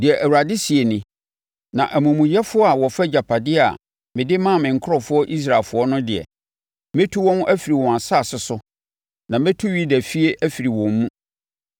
Deɛ Awurade seɛ nie: “Na amumuyɛfoɔ a wɔfa agyapadeɛ a mede maa me nkurɔfoɔ Israelfoɔ no deɛ, mɛtu wɔn afiri wɔn nsase so na mɛtu Yudafie afiri wɔn mu.